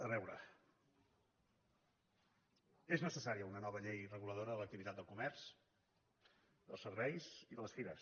a veure és necessària una nova llei reguladora de l’activitat del comerç dels serveis i de les fires